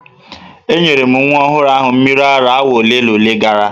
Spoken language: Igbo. Enyere m nwa ọhụrụ ahụ mmiri ara awa ole na ole gara aga.